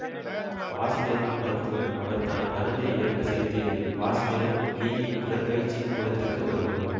வாசுதேவன் மருத்துவர் அவர் தான் மருந்தை இவருக்கு செலுத்தியது வாசுதேவன் லீயின் உடற்பயிற்சி கூடத்துக்கு வருபவர்